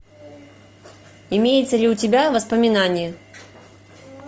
имеется ли у тебя воспоминание